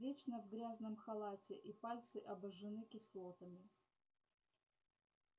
вечно в грязном халате и пальцы обожжены кислотами